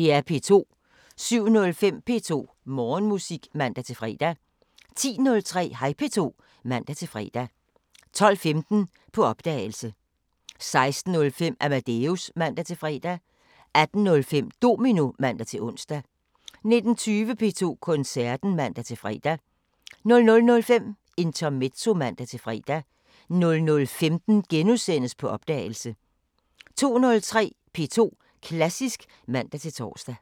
07:05: P2 Morgenmusik (man-fre) 10:03: Hej P2 (man-fre) 12:15: På opdagelse 16:05: Amadeus (man-fre) 18:05: Domino (man-ons) 19:20: P2 Koncerten (man-fre) 00:05: Intermezzo (man-fre) 00:15: På opdagelse * 02:03: P2 Klassisk (man-tor)